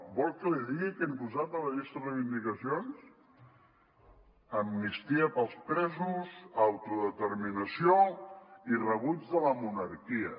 vol que li digui què han posat a la llista de reivindicacions amnistia pels presos autodeterminació i rebuig de la monarquia